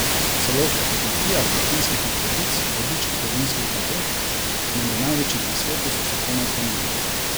Celo ob fotografijah latinskih lepotic, vodičk po vinskih kleteh, menda največjih na svetu, so se komaj zganili.